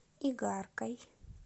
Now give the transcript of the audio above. игаркой